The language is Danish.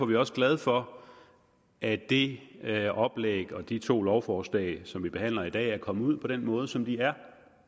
vi også glade for at det det oplæg og de to lovforslag som vi behandler i dag er kommet ud på den måde som de er